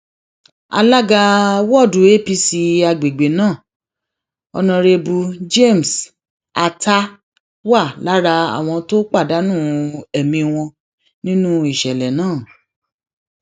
alága wọọdù apc àgbègbè náà onírèbù james atah wà lára àwọn tó pàdánù ẹmí wọn nínú ìṣẹlẹ náà